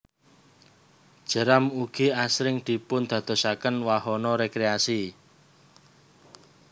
Jeram ugi asring dipun dadosaken wahana rekreasi